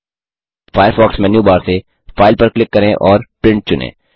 Firefox menu bar से file पर click करें और प्रिंट चुनें